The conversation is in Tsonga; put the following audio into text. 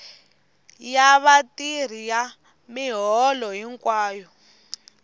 ya vatirhi ya miholo hinkwayo